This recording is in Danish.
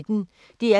DR P1